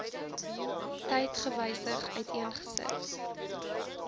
tyd gewysig uiteengesit